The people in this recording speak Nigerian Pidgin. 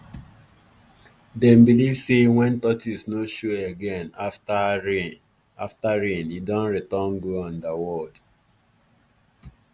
dem believe say when tortoise no show again after show again after rain e don return go underworld.